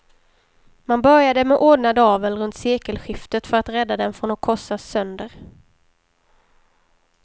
Man började med ordnad avel runt sekelskiftet för att rädda den från att korsas sönder.